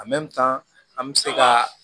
an bɛ se ka